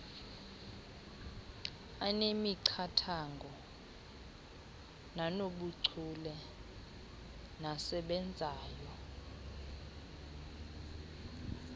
anemiqathango nanobuchule nasebenzayo